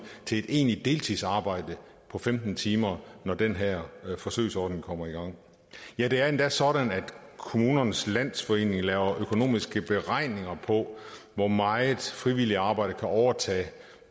til et egentligt deltidsarbejde på femten timer når den her forsøgsordning kommer i gang ja det er endda sådan at kommunernes landsforening laver økonomiske beregninger på hvor meget frivilligt arbejde kan overtage